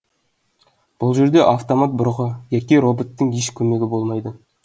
бұл жерде автомат бұрғы яки роботтың еш көмегі болмайды